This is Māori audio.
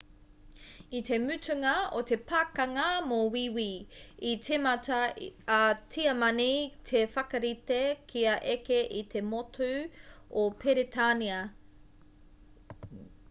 i te mutunga o te pakanga mō wīwī i tīmata a tiamani te whakarite kia eke i te motu o peretānia